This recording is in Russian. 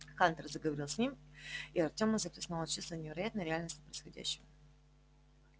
хантер заговорил с ним и артёма захлестнуло чувство невероятной реальности происходящего